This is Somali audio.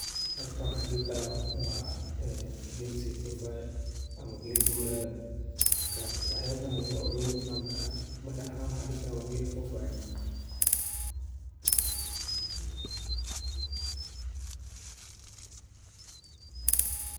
Halkan waxaan dhihi karaa wa een geel sii foofayo ama geel guurayo markas waxyaabo badan ayaa kagu tilmaami karaa marka aniga waxaan dhihi karaa wa geel foofayo.